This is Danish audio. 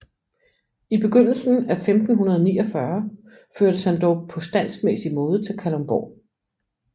I begyndelsen af 1549 førtes han dog på standsmæssig måde til Kalundborg